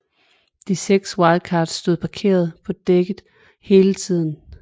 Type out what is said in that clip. De seks Wildcats stod parkeret på dækket hele tiden